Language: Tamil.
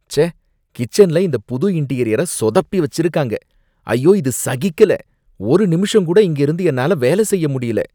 ச்சே, கிச்சன்ல இந்த புது இன்டீரியர சொதப்பி வச்சிருக்காங்க, ஐயோ இது சகிக்கல, ஒரு நிமிஷம் கூட இங்க இருந்து என்னால வேலை செய்ய முடியல.